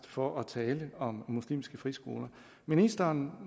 for at tale om muslimske friskoler ministeren